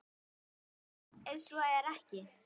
Hvað ef svo er ekki?